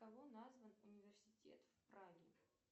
кого назван университет в праге